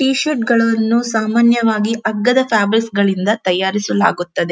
T shirt ಗಳನ್ನು ಸಾಮಾನ್ಯವಾಗಿ ಅಗ್ಗದ ಫ್ಯಾಬ್ರಿಕ್ಸ್ ಗಳಿಂದ ತಯಾರಿಸಲಾಗುತ್ತದೆ.